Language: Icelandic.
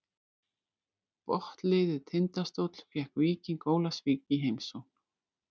Botnliðið Tindastóll fékk Víking Ólafsvík í heimsókn.